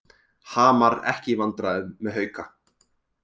Hamar ekki í vandræðum með Hauka